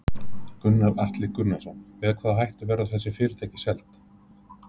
Gunnar Atli Gunnarsson: Með hvaða hætti verða þessi fyrirtæki seld?